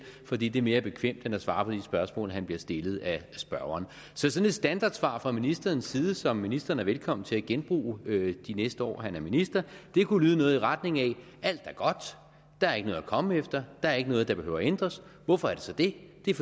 fordi det er mere bekvemt end at svare på de spørgsmål han bliver stillet af spørgeren sådan et standardsvar fra ministerens side som ministeren er velkommen til at genbruge de næste år han er minister kunne lyde noget i retning af alt er godt der er ikke noget at komme efter der er ikke noget der behøver at ændres hvorfor er det så det det er